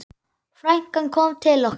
Frænkan kom til okkar.